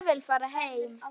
Ég vil fara heim.